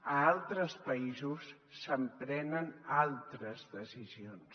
a altres països s’emprenen altres decisions